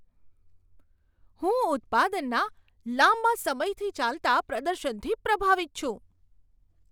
હું ઉત્પાદનના લાંબા સમયથી ચાલતા પ્રદર્શનથી પ્રભાવિત છું.